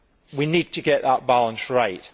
We need to get that balance right.